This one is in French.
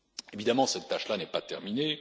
Évidemment, cette tâche n'est pas terminée.